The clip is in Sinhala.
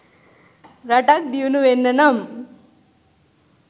රටක් දියුණු වෙන්න නම්